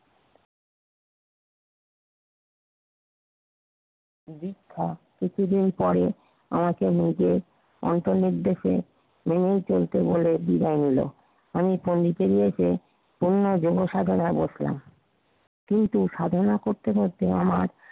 কিছুদিন পরে আমাকে নিজে অন্তর্নিক ডেকে লেলিন চরিত বলে বিদায় নিলো। আমি পন্ডিচরীতে পুনরায় যুব সাধনায় বসলাম। কিন্তু সাধনা করতে করতে আমার